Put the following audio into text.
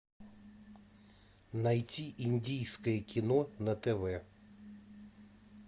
найти индийское кино на тв